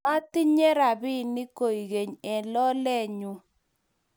matatinye robinik kokeny eng' lolenyu